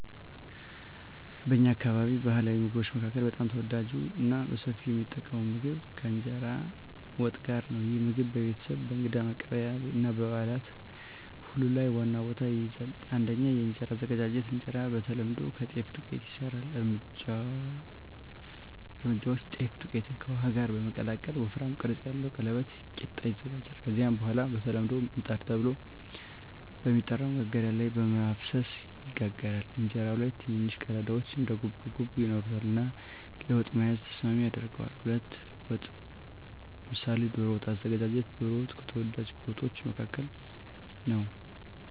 በእኛ አካባቢ ባሕላዊ ምግቦች መካከል በጣም ተወዳጅና በሰፊው የሚጠቀም ምግብ እንጀራ ከወጥ ጋር ነው። ይህ ምግብ በቤተሰብ፣ በእንግዳ መቀበያ እና በበዓላት ሁሉ ላይ ዋና ቦታ ይይዛል። 1. የእንጀራ አዘገጃጀት እንጀራ በተለምዶ ከጤፍ ዱቄት ይሰራል። እርምጃዎች: ጤፍ ዱቄትን ከውሃ ጋር በመቀላቀል ወፍራም ቅርጽ ያለው ቀለበት (ቂጣ) ይዘጋጃል። ከዚያ በኋላ በተለምዶ “ምጣድ” ተብሎ በሚጠራ መጋገሪያ ላይ በመፍሰስ ይጋገራል። እንጀራው ላይ ትንንሽ ቀዳዳዎች (እንደ ጉብጉብ) ይኖሩታል እና ለወጥ መያዝ ተስማሚ ያደርገዋል። 2. ወጥ (ምሳሌ ዶሮ ወጥ) አዘገጃጀት ዶሮ ወጥ ከተወዳጅ ወጦች መካከል ነው።